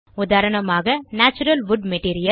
உதாரணமாக natural wood material